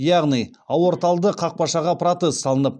яғни аорталды қақпақшаға протез салынып